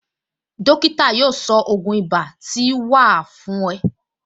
Dókítà yóò sọ ògún ibà tí wà á fún ẹ